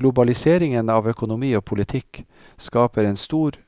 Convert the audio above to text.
Globaliseringen av økonomi og politikk skaper en stor,